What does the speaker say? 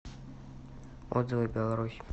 отзывы беларусь